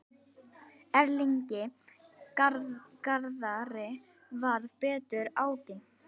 Erlingi Garðari varð betur ágengt.